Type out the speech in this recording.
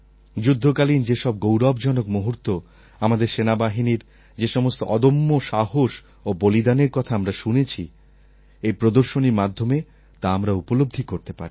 যুদ্ধকালীন যেসব গৌরবজনক মুহূর্ত আমাদের সেনাবাহিনীর যে সমস্ত অদম্য সাহস ও বলিদানের কথা আমরা শুনেছি এই প্রদর্শনীর মাধ্যমে তা আমরা উপলব্ধি করতে পারি